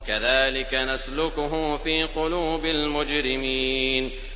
كَذَٰلِكَ نَسْلُكُهُ فِي قُلُوبِ الْمُجْرِمِينَ